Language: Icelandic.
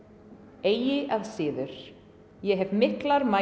eigi að síður ég hef miklar mætur